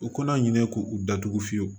U kana ɲinɛ k'u u datugu fiyewu